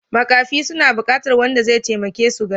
Makafi suna buƙatar wanda zai taimake su gani.